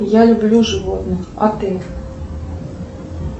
я люблю животных а ты